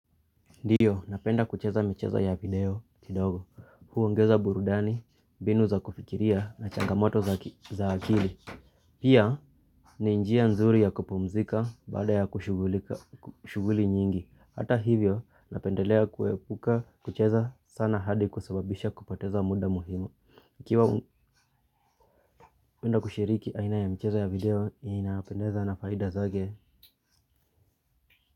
Ndiyo napenda kucheza michezo ya video kidogo. Huongeza burudani, mbinu za kufikiria na changamoto za akili. Pia ni njia nzuri ya kupumzika baada ya kushugulika shughuli nyingi. Hata hivyo napendelea kuepuka kucheza sana hadi kusebabisha kupateza muda muhimu ikiiwa unapenda kushiriki aina ya michezo ya video inapendeza na faida zake.